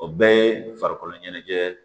O bɛɛ ye farikolo ɲɛnajɛ